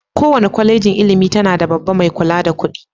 Kowace kwalejin ilimi tana da babban mai kula da kuɗi.